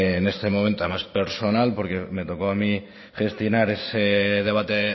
en este momento a más personal porque me tocó a mí gestionar ese debate